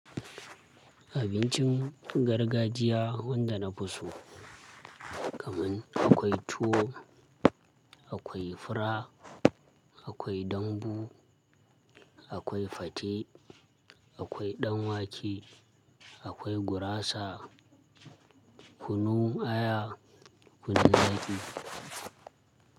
Abincin gargajiya wanda na fi so kaman akwai tuwo, akwai fura, akwai dambu, akwai fate, akwai ɗan wake, akwai gurasa, kunu aya, kunu daji.